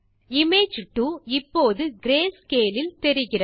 image 2 இப்போது greyscale இல் தெரிகிறது